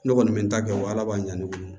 Ne kɔni bɛ n ta kɛ o ala b'an ne bolo